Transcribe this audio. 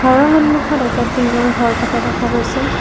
ঘৰৰ সন্মুখত এটা টিনৰ ঘৰ থকা দেখা গৈছে।